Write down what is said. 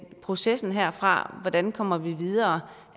er processen herfra og hvordan kommer vi videre